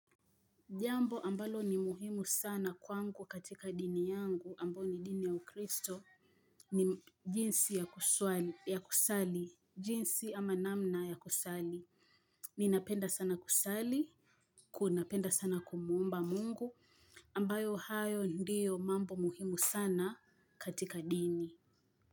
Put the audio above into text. Jambo ambalo ni muhimu sana kwangu katika dini yangu ambayo ni dini ya ukristo ni jinsi ya kusali jinsi ama namna ya kusali. Ninapenda sana kusali. Kunapenda sana kumuomba mungu ambayo hayo ndiyo mambo muhimu sana katika dini.